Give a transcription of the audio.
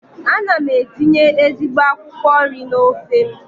Ana m etinye ezigbo akwụkwọ nri n'ofe m.